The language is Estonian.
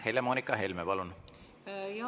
Helle-Moonika Helme, palun!